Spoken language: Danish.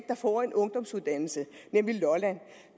der får en ungdomsuddannelse nemlig lolland